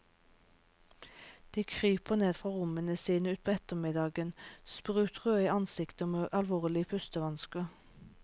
De kryper ned fra rommene sine utpå ettermiddagen, sprutrøde i ansiktet og med alvorlige pustevansker.